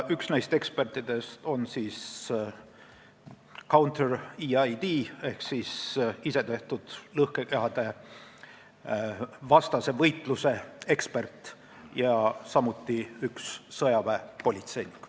Üks neist ekspertidest on counter-IED specialist ehk isetehtud lõhkekehade vastase võitluse ekspert ja teine on sõjaväepolitseinik.